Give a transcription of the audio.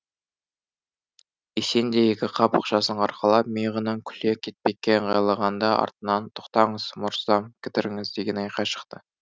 есен де екі қап ақшасын арқалап миығынан күле кетпекке ыңғайланғанда артынан тоқтаңыз мырзам кідіріңіз деген айқай шықты